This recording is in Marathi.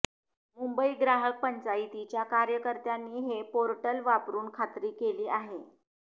मुंबई ग्राहक पंचायतीच्या कार्यकर्त्यांनी हे पोर्टल वापरून खात्री केली आहे